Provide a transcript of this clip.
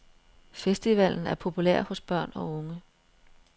Festivalen er populær hos børn og unge.